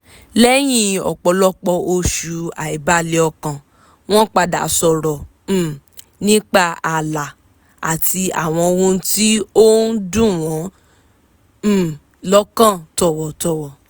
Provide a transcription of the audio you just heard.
lẹ́yìn ọ̀pọ̀lọpọ̀ oṣù àìbalẹ̀ ọkàn wọ́n padà sọ̀rọ̀ um nípa ààlà àti àwọn ohun tí ó ń dùn wọ́n um lọ́kàn tọ̀wọ̀tọ̀wọ̀